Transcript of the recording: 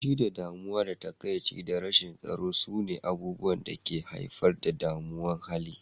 Fushi, damuwa, takaici da rashin tsaro sune abubuwan da ke haifar da mummunan hali.